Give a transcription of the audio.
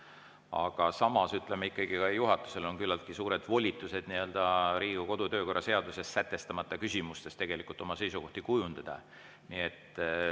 Aga samas on ikkagi ka juhatusel küllaltki suured volitused Riigikogu kodu‑ ja töökorra seaduses sätestamata küsimustes oma seisukohti kujundada.